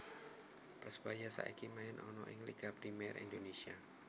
Persebaya saiki main ana ing Liga Premier Indonesia